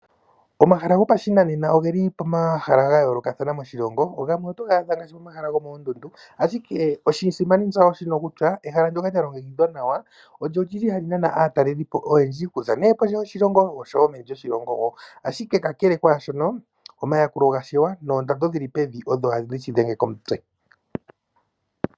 Omahala gopashinanena ogeli pomahala ga yoolokathana moshilongo gamwe otoga adha ngaashi pomahala gomokoondundu ashike oshisimanitsa osho shino kutya pehala ndyono lya longekidhwa nawa olili hali nana aatalelipo oyendji okuza nee kondje yoshilongo osho wo omeni lyoshilongo wo, ashike kakele kwaashono omayakulo gashewa noondando dhili pevi odho hadhi shi dhenge komutse.